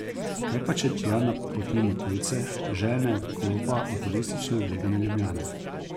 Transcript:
Kaj pa če tja napotimo tujce, željne odklopa od turistično oblegane Ljubljane?